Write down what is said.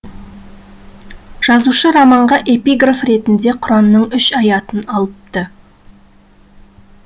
жазушы романға эпиграф ретінде құранның үш аятын алыпты